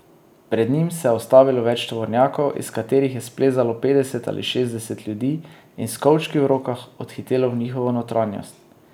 Pred njimi se je ustavilo več tovornjakov, iz katerih je splezalo petdeset ali šestdeset ljudi in s kovčki v rokah odhitelo v njihovo notranjost.